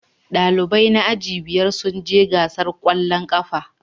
Dalibai na aji biyar sun je gasar kwallon kafa